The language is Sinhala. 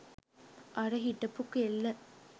අර හිටපු කෙල්ල